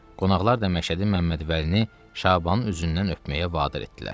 Qonaqlar da Məşədi Məmmədvəlini Şabanın üzündən öpməyə vadar etdilər.